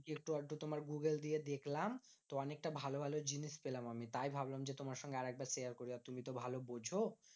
একটু আধটু তোমার গুগল দিয়ে দেখলাম, তো অনেকটা ভালো ভালো জিনিস পেলাম আমি। তাই ভাবলাম যে, তোমার সঙ্গে আরেকবার share করি আর তুমি তো ভালো বোঝো।